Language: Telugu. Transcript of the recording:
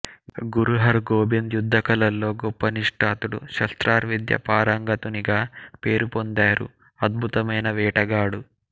గురు హర్ గోబింద్ యుద్ధ కళల్లో గొప్ప నిష్ణాతుడు శస్త్రార్ విద్య పారంగతునిగా పేరుపొందారు అద్భుతమైన వేటగాడు